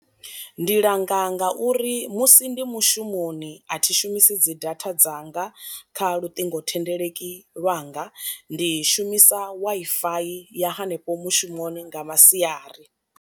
Ndi langa ngauri musi ndi mushumoni a thi shumisi dzi data dzanga kha luṱingothendeleki langa, ndi shumisa Wi-Fi ya hanefho mushumoni nga masiari.